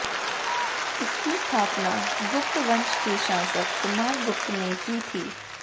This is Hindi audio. इसकी स्थापना गुप्त वंश के शासक कुमार गुप्त ने की थी